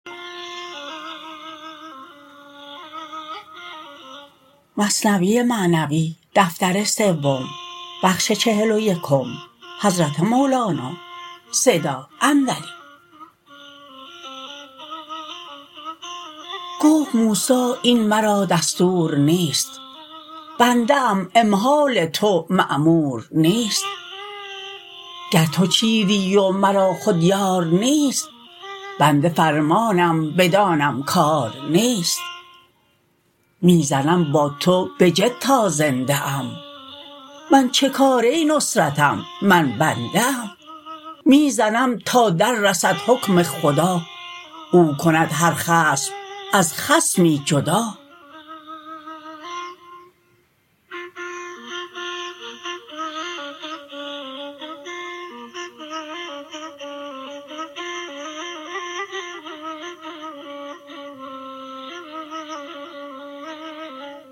گفت موسی این مرا دستور نیست بنده ام امهال تو مامور نیست گر تو چیری و مرا خود یار نیست بنده فرمانم بدانم کار نیست می زنم با تو بجد تا زنده ام من چه کاره نصرتم من بنده ام می زنم تا در رسد حکم خدا او کند هر خصم از خصمی جدا